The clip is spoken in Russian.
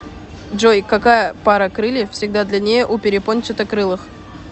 джой какая пара крыльев всегда длиннее у перепончатокрылых